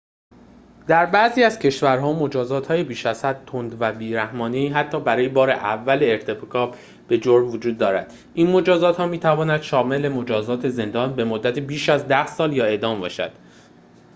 در بعضی کشورها مجازات‌های بیش‌ازحد تند و بی‌رحمانه‌ای حتی برای بار اول ارتکاب به جرم وجود دارد این مجازات‌ها می‌تواند شامل مجازات زندان به‌مدت بیش از ۱۰ سال یا اعدام باشد